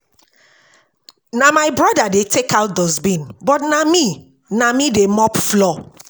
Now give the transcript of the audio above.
Na my brother dey take out dustbin, but na me na me dey mop floor